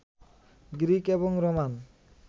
Greek এবং Roman